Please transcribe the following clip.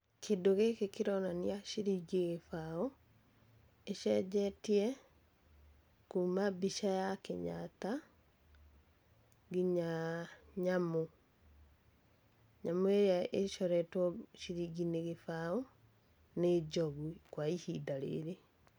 Kĩndũ gĩkĩ kĩronania ciringi gĩbaũ, ĩcenjetie kuuma mbica ya Kenyatta nginya nyamũ. Nyamũ ĩrĩa ĩcoretwo ciringi-inĩ gĩbaũ nĩ njogu kwa ihinda rĩrĩ.